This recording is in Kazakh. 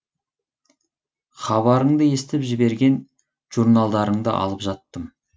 хабарыңды естіп жіберген журналдарыңды алып жаттым